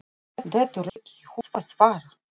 Dettur ekki í hug að svara.